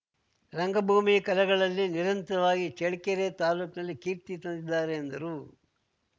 ರಂಗಭೂಮಿ ಕಲೆಗಳಲ್ಲಿ ನಿರಂತರಾಗಿ ಚಳ್ಕೆರೆ ತಾಲೂಕ್ನಲ್ಲಿ ಕೀರ್ತಿ ತಂದಿದ್ದಾರೆ ಎಂದರು